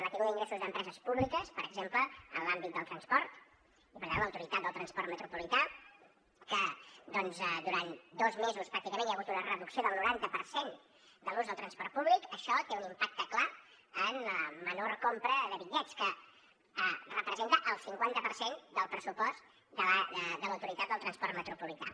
la caiguda d’ingressos d’empreses públiques per exemple en l’àmbit del transport i per tant l’autoritat del transport metropolità que doncs durant dos mesos pràcticament hi ha hagut una reducció del noranta per cent de l’ús del transport públic això té un impacte clar en la menor compra de bitllets que representa el cinquanta per cent del pressupost de l’autoritat del transport metropolità